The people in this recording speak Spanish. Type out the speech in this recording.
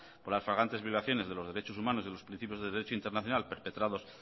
por las flagrantes violaciones de los derechos humanos y de los principios de derecho internacional perpetrados